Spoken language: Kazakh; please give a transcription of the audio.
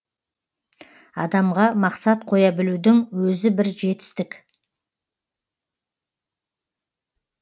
адамға мақсат қоя білудің өзі бір жетістік